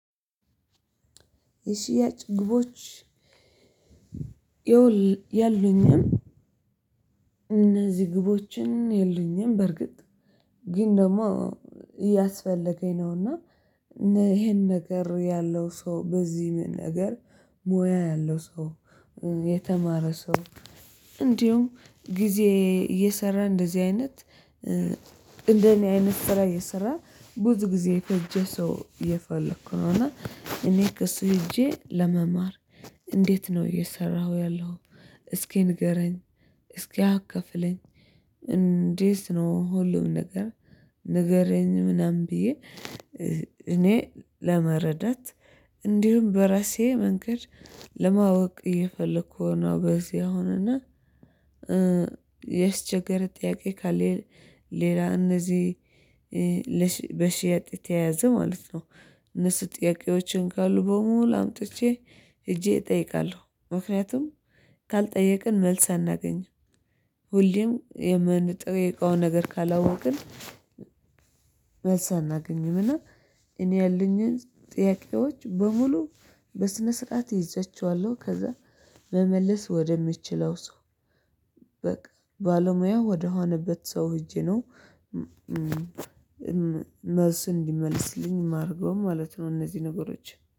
የሽያጭ ግቦች የሉኝም። እነዚህ ግቦችን የሉኝም በርግጥ ግን ደግሞ እያስፈለገኝ ነውና ይሄን ነገር ያለው ሰው በዚህም ነገር ሙያ ያለው ሰው የተማረ ሰው እንዲሁም ጊዜ እየሰራ እንደዚህ አይነት አይነት ስራ እየሰራ ብዙ ጊዜ የፈጀ ሰው የፈለኩ ነው። እና እኔ ክሱ ሄጄ ለመማር እንዴት ነው እየሰራሁ ያለሁ እስኪ ንገረኝ እስኪ አከፍለኝ እንዴት ነው? ሁሉም ነገር ንገረኝ ምናምን ብዬ እኔ ለመረዳት እንዲሁም በራሴ መንገድ ለማወቅ እየፈለኩ ነው። በዚህ አሁን እና የስቸገር ጥያቄ ካለ ሌላ እነዚህ በሺያጭ የተያዘ ማለት ነው። እነሱ ጥያቄዎችን ካሉ አምጥቼ ሄጄ እጠይቃለሁ ምክንያቱም ካልጠየቅን መልስ አናገኝም። ሁሌም የምመጣው የእቃ ነገር ካላወቅን መልስ አናገኝምና። እኔ ያለኝን ጥያቄዎች በሙሉ በስነ ስርዓት ይዘቸዋለሁ ከዛ መመለስ ወደምችለው ሰው በቃ ባለሙያ ወደሆነበት ሰው ሄጄ ነው። መልሱን እንዲመልስልኝ የማደርገውም ማለት ነው። እነዚህ ነገሮች